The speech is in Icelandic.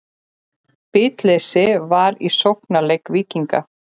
Bitleysi var í sóknarleik Víkinga.